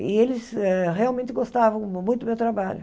E eles hã realmente gostavam muito do meu trabalho.